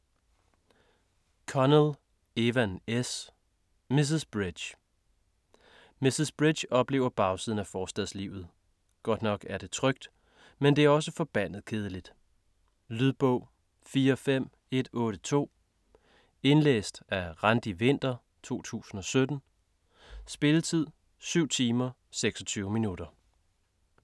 Connell, Evan S.: Mrs. Bridge Mrs. Bridge oplever bagsiden af forstadslivet - godt nok er det trygt, men det er også forbandet kedeligt. Lydbog 45182 Indlæst af Randi Winther, 2017. Spilletid: 7 timer, 26 minutter.